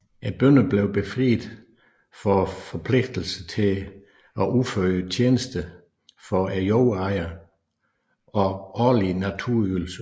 Bønderne blev befriet for forpligtelsen til at udføre tjenester for jordejeren og årlige naturalieydelser